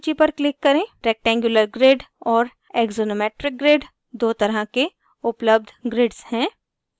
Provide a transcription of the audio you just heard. rectangular grid और axonometric grid दो तरह के उपलब्ध grids हैं